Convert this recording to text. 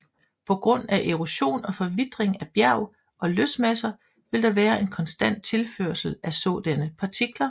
På grund af erosion og forvitring af bjerg og løsmasser vil der være en konstant tilførsel af sådanne partikler